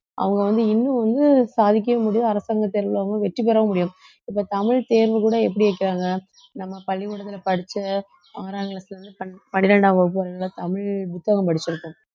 அவங்க வந்து இன்னும் வந்து சாதிக்கவே முடியும் அரசாங்க தேர்வுல அவங்க வெற்றி பெறவும் முடியும் இப்ப தமிழ் தேர்வு கூட எப்படி வைக்கிறாங்க நம்ம பள்ளிக்கூடத்துல படிச்ச ஆறாம் class ல இருந்து பன்~ பன்னிரண்டாம் வகுப்பு வரையிலும் தமிழ் புத்தகம் படிச்சிருக்கோம்